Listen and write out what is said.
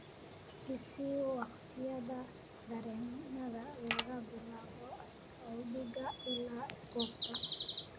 i sii wakhtiyada tareenada laga bilaabo saldhiga ilaa goobta